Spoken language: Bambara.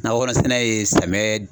Nakɔkɔnɔsɛnɛ ye samiyɛ